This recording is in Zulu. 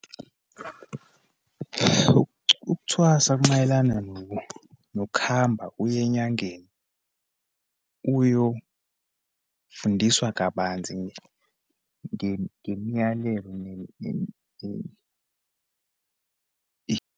Ukuthwasa kumayelana nokuhamba uye enyangeni, uyofundiswa kabanzi ngemiyalelo .